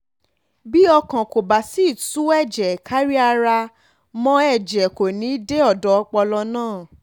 bí ọkàn kò bá sì ti tu ẹ̀jẹ̀ kárí ara mọ́ ẹ̀jẹ̀ kò ní í dé ọ̀dọ̀ ọpọlọ náà